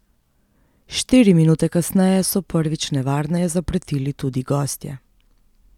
Štiri minute kasneje so prvič nevarneje zapretili tudi gostje.